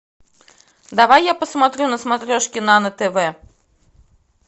давай я посмотрю на смотрешке нано тв